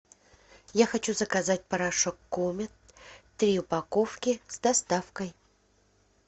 я хочу заказать порошок комет три упаковки с доставкой